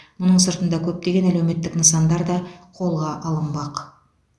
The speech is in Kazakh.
мұның сыртында көптеген әлеуметтік нысандар да қолға алынбақ